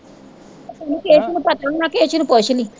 ਉਹਨੂੰ ਕੇਸੂ ਨੂੰ ਪਤਾ ਹੋਣਾ ਕੇਸੂ ਨੂੰ ਪੁੱਛ ਲਈ।